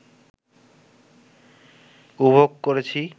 উপভোগ করেছি